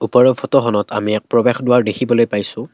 ওপৰৰ ফটোখনত আমি এক প্ৰৱেশদ্বাৰ দেখিবলৈ পাইছোঁ।